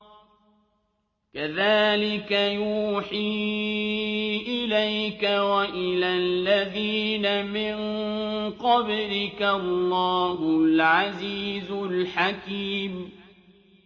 كَذَٰلِكَ يُوحِي إِلَيْكَ وَإِلَى الَّذِينَ مِن قَبْلِكَ اللَّهُ الْعَزِيزُ الْحَكِيمُ